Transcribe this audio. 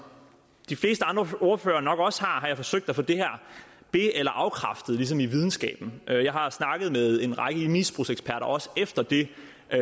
de fleste andre ordførere nok også har forsøgt at få det her be eller afkræftet ligesom i videnskaben jeg har snakket med en række misbrugseksperter også efter det